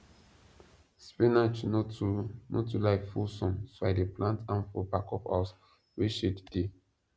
spinach no too no too like full sun so i dey plant am for back of house wey shade dey